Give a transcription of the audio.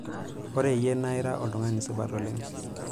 ore iyie na ira iltung'ani supat oleng'